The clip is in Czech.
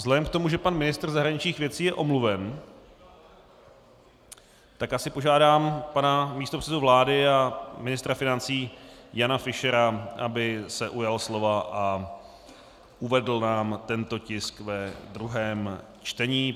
Vzhledem k tomu, že pan ministr zahraničních věcí je omluven, tak asi požádám pana místopředsedu vlády a ministra financí Jana Fischera, aby se ujal slova a uvedl nám tento tisk ve druhém čtení.